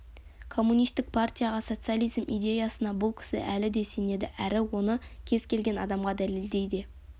коммунистік партияға социализм идеясына бұл кісі әлі де сенеді әрі оны кез келген адамға дәлелдей де